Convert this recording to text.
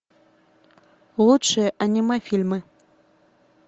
лучшие анимэ фильмы